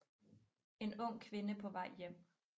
En ung kvinde på vej hjem